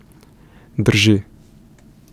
Drži.